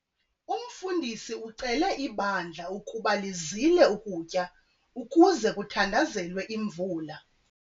Umfundisi ucele ibandla ukuba lizile ukutya ukuze kuthandazelwe imvula.